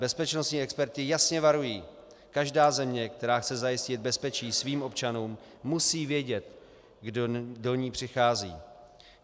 Bezpečnostní experti jasně varují - každá země, která chce zajistit bezpečí svým občanům, musí vědět, kdo do ní přichází.